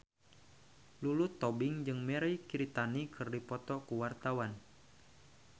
Lulu Tobing jeung Mirei Kiritani keur dipoto ku wartawan